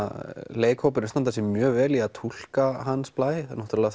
leikararnir standa mjög vel við að túlka Hans Blæ þau náttúrulega